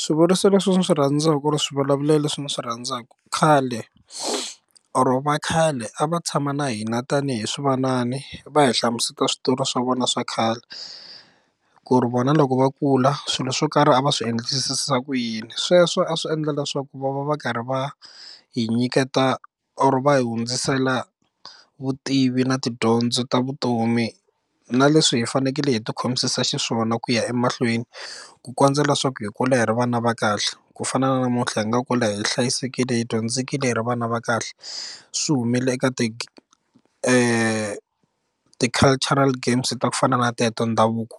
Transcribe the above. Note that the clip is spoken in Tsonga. Swivuriso leswi ndzi swi rhandzaka or swivulavulelo leswi ndzi swi rhandzaka khale or va khale a va tshama na hina tanihi swivanani va hi hlamuseta switori swa vona swa khale ku ri vona loko va kula swilo swo karhi a va swi endlisa ku yini sweswo a swi endla leswaku ku va va va karhi va hi nyiketa or va hi hundzisela vutivi na tidyondzo ta vutomi na leswi hi fanekele hi ti khomisa xiswona ku ya emahlweni ku kondza leswaku hi kula hi ri vana va kahle ku fana na namuntlha hi nga kwala hi hlayisekile hi dyondzekile hi ri vana va kahle swi humelela eka ti cultural games ta ku fana na teto ndhavuko